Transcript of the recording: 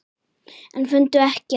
En fundu ekkert.